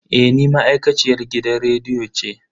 Eh ni ma'aikaciyar gidan rediyo ce.